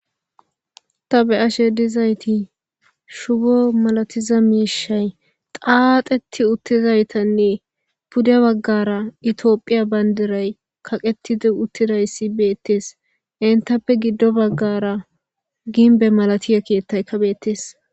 ta be7ashe dizayti shubo malatiza miishay qaaxeti uttizaytanne pude baggara itioophiya bayndiray kaqetidi uttidayssi beettees entappe giddo baggara ginbe malatiye keettay kabheettees